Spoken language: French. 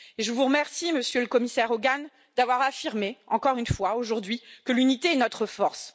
Et je vous remercie, Monsieur le Commissaire Hogan, d'avoir affirmé, encore une fois aujourd'hui, que l'unité est notre force.